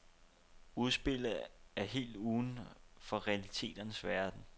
Udspillet er helt uden for realiteternes verden.